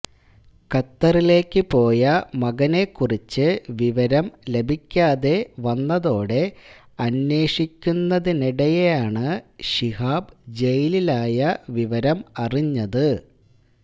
ഖത്തറിലേക്കു പോയ മകനെ കുറിച്ച് വിവരം ലഭിക്കാതെ വന്നതോടെ അന്വേഷിക്കുന്നതിനിടെയാണ് ശിഹാബ് ജയിലിലായ വിവരം അറിഞ്ഞത്